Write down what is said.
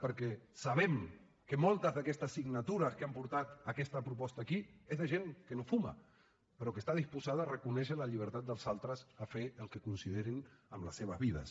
perquè sabem que moltes d’aquestes signatures que han portat aquesta proposta aquí són de gent que no fuma però que està disposada a reconèixer la llibertat dels altres a fer el que considerin amb les seves vides